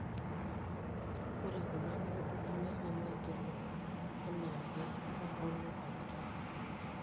Ore kuna noduli netem aigilu anaake atahoo nebakitae.